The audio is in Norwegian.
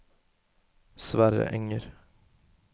Sverre Enger